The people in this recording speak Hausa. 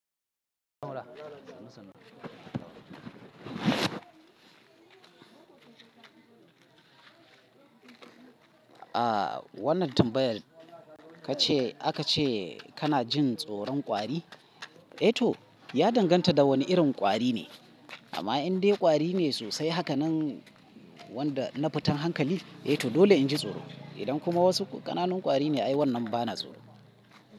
A wannan tambayar kace aka ce kana jin tsoron kwari? Eh to, ya danganta da wani irin kwari ne. Amma in dai kwari ne sosai haka nan wanda na futan hankali, eh to dole in ji tsoro. Idan kuma wasu ƙananan kwari ne ai wannan ba na tsoro.